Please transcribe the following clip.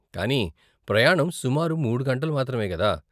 కానీ ప్రయాణం సుమారు మూడు గంటలు మాత్రమే కదా.